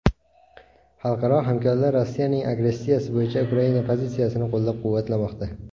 Xalqaro hamkorlar Rossiyaning agressiyasi bo‘yicha Ukraina pozitsiyasini qo‘llab-quvvatlamoqda.